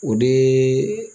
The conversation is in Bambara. O de